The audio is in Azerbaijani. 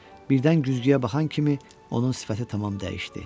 Birdən güzgüyə baxan kimi onun sifəti tamam dəyişdi.